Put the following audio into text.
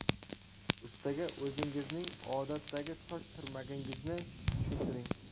Ustaga o‘zingizning odatdagi soch turmagingizni tushuntiring.